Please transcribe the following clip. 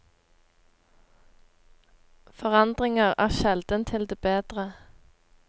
Forandringer er sjelden til det bedre.